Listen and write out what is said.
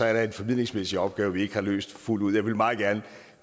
er der en formidlingsmæssig opgave vi ikke har løst fuldt ud jeg vil meget gerne